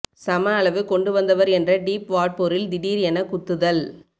சம அளவு கொண்டு வந்தவர் என்ற டீப் வாட்போரில் திடீர் என குத்துதல்